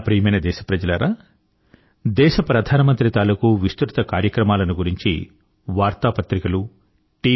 నా ప్రియమైన దేశప్రజలారా దేశ ప్రధాన మంత్రి తాలుకూ విస్తృత కార్యక్రమాలను గురించి వార్తా పత్రికలు టీ